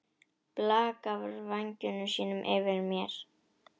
Blakar vængjum sínum yfir mér.